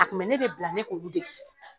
A kun bɛ ne de bila ne k'olu dege